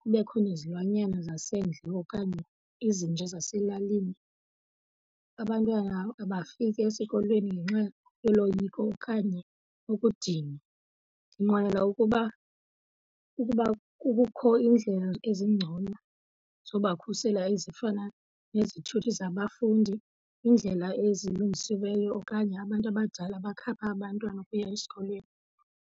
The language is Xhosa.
kubekho nezilwanyana zasendle okanye izinja zaselalini, abantwana abafiki esikolweni ngenxa yoloyiko okanye ukudinwa. Ndinqwenela ukuba ukuba kukho iindlela ezingcono zobakhusela ezifana nezithuthi zabafundi, iindlela ezilungisiweyo okanye abantu abadala abakhapha abantwana ukuya esikolweni.